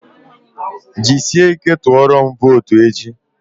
Ji sị ike tụọrọm votu echi!